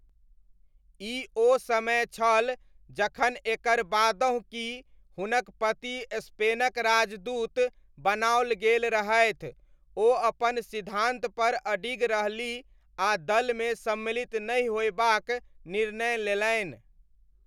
ई ओ समय छल जखन एकर बादहुँ कि हुनक पति स्पेनक राजदूत बनाओल गेल रहथि ओ अपन सिद्धान्तपर अडिग रहलीह आ दलमे सम्मिलित नहि होयबाक निर्णय लेलनि।